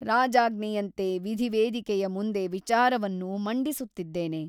ರಾಜಾಜ್ಞೆಯಂತೆ ವಿಧಿವೇದಿಕೆಯ ಮುಂದೆ ವಿಚಾರವನ್ನು ಮಂಡಿಸುತ್ತಿದ್ದೇನೆ.